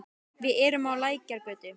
Við erum á Lækjargötu.